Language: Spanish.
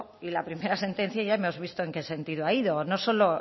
y la primera sentencia ya hemos visto en qué sentido ha ido no solo